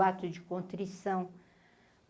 O ato de contrição.